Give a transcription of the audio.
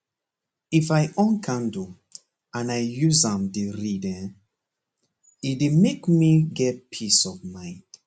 if i on candle and i use am dey read hen he dey make me get peace of mind